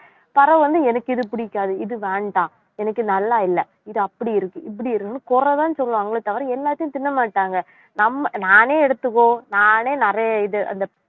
பிறவு வந்து எனக்கு இது பிடிக்காது, இது வேண்டாம், எனக்கு நல்லா இல்லை, இது அப்படி இருக்கு இப்படி இருக்குன்னு குறைதான் சொல்லுவாங்களே தவிர எல்லாத்தையும் தின்னமாட்டாங்க நம்ம நானே எடுத்துக்கோ நானே நிறைய இது அந்த